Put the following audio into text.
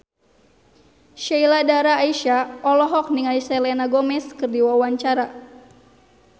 Sheila Dara Aisha olohok ningali Selena Gomez keur diwawancara